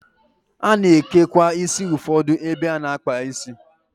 A na-ekekwa isi ụfọdụ ebe a na-akpụ isi.